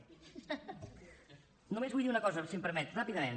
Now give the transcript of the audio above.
només vull dir una cosa si em permet ràpidament